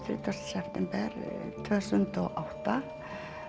september tvö þúsund og átta